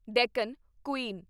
Deccan Queen